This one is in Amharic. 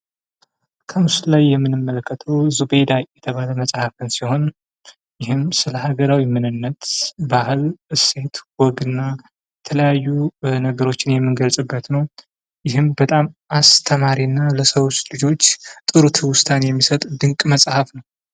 ከምስሉ ላይ የምንመለከተው ዙቤይዳ የተባለ መፅሐፍ ሲሆን ይህም ስለ ሀገራዊ ምንነት፣ ባህል ፣እሴት ፣ወግና የተለያዩ ነገሮችን የምንገልጽበት ነው። ይህም በጣም አስተማሪ እና ለሰው ልጆች ጥሩ ትውስታን የሚሰጥ ድንቅ መፅሐፍ ነው።